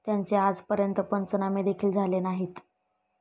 त्याचे आजपर्यंत पंचनामे देखिल झाले नाहीत.